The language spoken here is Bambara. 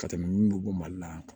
Ka tɛmɛ minnu bɔ mali la